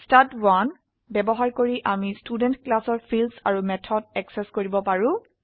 ষ্টাড1 ব্যবহাৰ কৰি আমি ষ্টুডেণ্ট ক্লাসৰ ফিল্ডস আৰু মেথড অ্যাক্সেস কৰিব পাৰি